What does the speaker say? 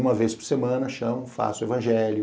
Uma vez por semana, chamo, faço o evangelho.